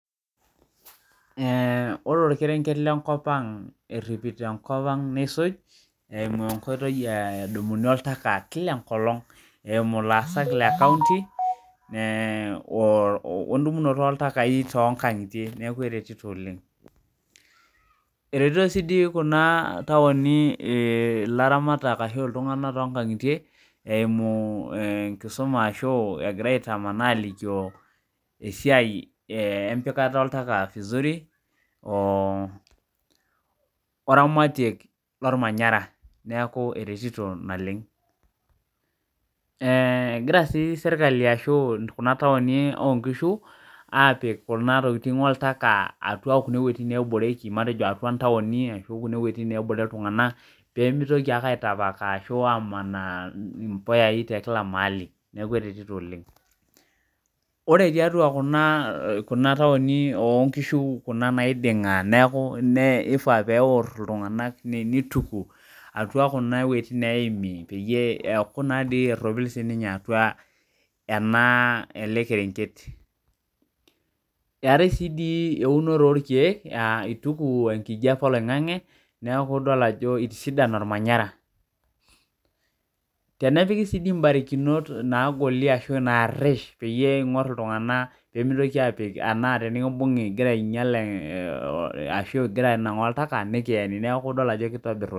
Ee ore orkerenket lenkop aang eimu enkoitoi nadumunu oltaka kila enkolong eimu laasak le kaunti wendumunoto oltaka tonkangitie neaku eretito oleng eretito sinye kuna tauni laramatak to kangitie eimu enkisuma egira aitamanaa alikio esiaia empikata oltaka vizuri wemanarotk oltaka neaku eretito naleng ee egira si serkali ashu kuna tauni obkishu apik kuna tokitin oltaka atua kuna tauni ashu kuna wuetin nebore ltunganak pemitoki amanaa mpuyai tekila maali neaku eretito oleng ore tiatua kuna tauni o kishu naiding na kifaa peituku kuna wuejitin naiding peropilu atua enaa elekerenket eetae si eunoto orkiek ituku enkijape oloingangi neaku idol ajo itisidana ormanyara tenepiki si mbarikinok narish pemitoki apik anaa pekimbungu ingira anangaa oltaka nikiemi neaku idol ajo kitobir.